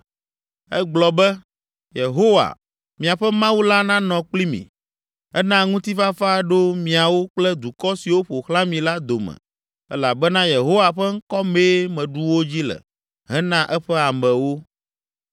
Egblɔ be, “Yehowa, miaƒe Mawu la nanɔ kpli mi. Ena ŋutifafa ɖo miawo kple dukɔ siwo ƒo xlã mi la dome elabena Yehowa ƒe ŋkɔ mee meɖu wo dzi le hena eƒe amewo.